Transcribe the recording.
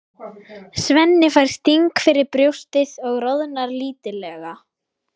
Svenni fær sting fyrir brjóstið og roðnar lítillega.